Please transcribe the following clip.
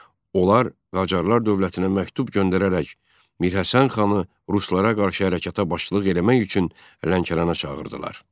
Onlar Qacarlar dövlətinə məktub göndərərək Mirhəsən xanı ruslara qarşı hərəkətə başçılıq eləmək üçün Lənkərana çağırdılar.